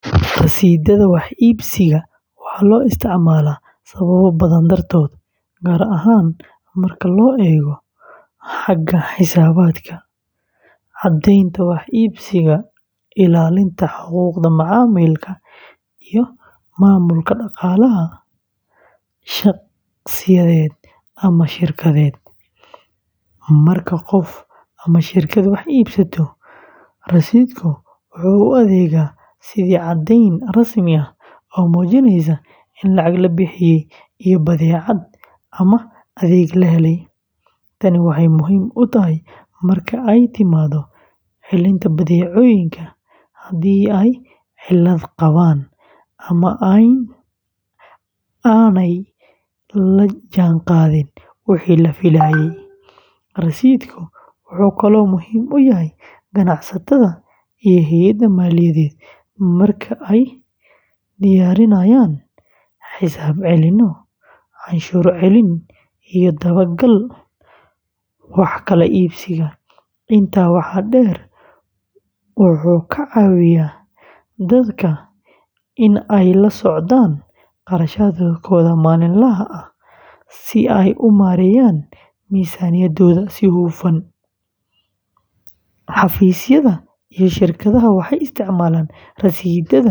Rasiidhada wax iibsiga waxaa loo isticmaalaa sababo badan dartood, gaar ahaan marka la eego xagga xisaabaadka, caddaynta wax iibsiga, ilaalinta xuquuqda macaamilka, iyo maamulka dhaqaalaha shaqsiyeed ama shirkadeed. Marka qof ama shirkad wax iibsato, rasiidhku wuxuu u adeegaa sidii caddayn rasmi ah oo muujinaysa in lacag la bixiyey iyo badeecad ama adeeg la helay. Tani waxay muhiim u tahay marka ay timaado celinta badeecooyinka, haddii ay cilad qabaan ama aanay la jaanqaadin wixii la filayey. Rasiidhka wuxuu kaloo muhiim u yahay ganacsatada iyo hay’adaha maaliyadeed marka ay diyaarinayaan xisaab celinyo, canshuur celin, iyo dabagalka wax kala iibsiga. Intaa waxaa dheer, wuxuu ka caawiyaa dadka in ay la socdaan kharashkooda maalinlaha ah si ay u maareeyaan miisaaniyaddooda si hufan. Xafiisyada iyo shirkadaha waxay isticmaalaan rasiidhada si ay u ilaaliyaan hufnaanta nidaamyadooda maamulka iyo xisaabaadka.